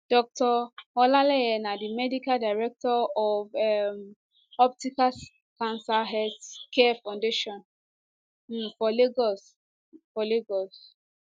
dr olaleye na di medical director of um optimal cancer care foundation um for lagos for lagos